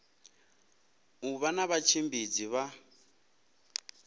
u vha na vhatshimbidzi vha